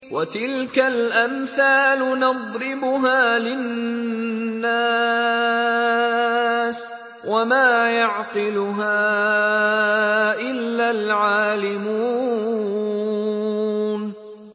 وَتِلْكَ الْأَمْثَالُ نَضْرِبُهَا لِلنَّاسِ ۖ وَمَا يَعْقِلُهَا إِلَّا الْعَالِمُونَ